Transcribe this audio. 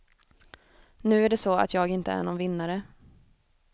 Nu är det så att jag inte är någon vinnare.